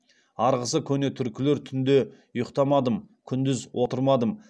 арғысы көне түркілер түнде ұйықтамадым күндіз отырмадым